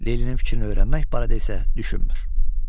Leylinin fikrini öyrənmək barədə isə düşünmür.